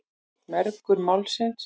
Mergur Málsins.